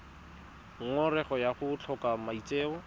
ngongorego ya go tlhoka maitseo